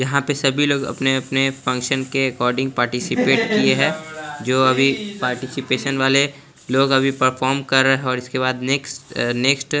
यहां पे सभी लोग अपने अपने फंक्शन के अकोडिंग पार्टी सिपेट किये है जो अभी पार्टीसिपेसशन वाले लोग अभी परफॉर्म कर रहे है उसके बाद अभी नेक्स्ट अ नेक्स्ट --